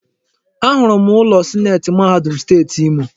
Ahụrụ m ụlọ sineeti mahadum Steeti Imo.